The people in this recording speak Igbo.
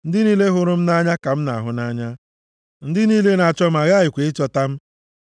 Ndị niile hụrụ m nʼanya ka m na-ahụ nʼanya. Ndị niile na-achọ m aghakwaghị ịchọta m.